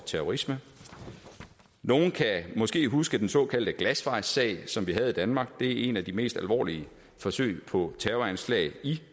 terrorisme nogle kan måske huske den såkaldte glasvejssag som vi havde i danmark det er et af de mest alvorlige forsøg på terroranslag